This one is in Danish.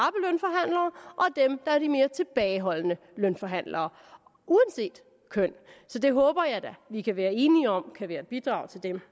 dem der er de mere tilbageholdende lønforhandlere uanset køn så det håber jeg da vi kan være enige om kan være et bidrag til dem